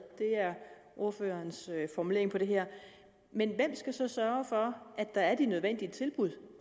er er ordførerens formulering af det her men hvem skal så sørge for at der er de nødvendige tilbud